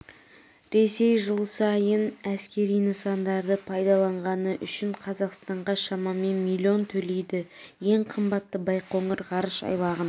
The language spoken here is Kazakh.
ресей жыл сайын әскери нысандарды пайдаланғаны үшін қазақстанға шамамен миллион төлейді ең қымбаты байқоңыр ғарыш айлағын